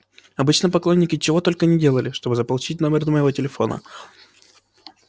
обычно поклонники чего только не делали чтобы заполучить номер моего телефона